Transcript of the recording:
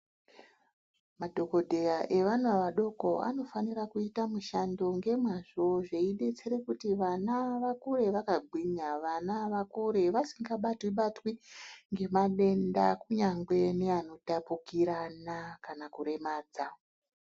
Madhogodheya evana vadoko anofanira kuita mushando ngemazvo zveibetsera kuti vana vakure vakagwinya. Vana vakure vasingabatwi-batwi ngemadenda kunyangwe neanotapukirana kana kuremadza.